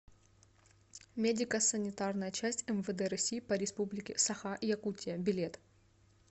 медико санитарная часть мвд россии по республике саха якутия билет